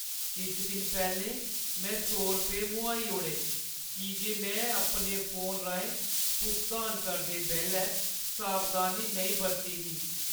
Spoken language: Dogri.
किश दिन पैह्‌लें मैं सौ रपेऽ मोहाई ओड़े की जे मैं अपने फोन राहें भुगतान करदे बेल्लै सावधानी नेईं बरती ही।